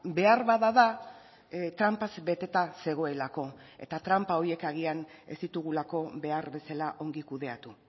beharbada da tranpaz beteta zegoelako eta tranpa horiek agian ez ditugulako behar bezala ongi kudeatu